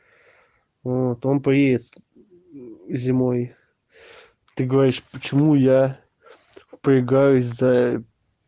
вот он приедет зимой ты говоришь почему я впрягаюсь за